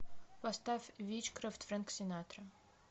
поставь вичкрафт фрэнк синатра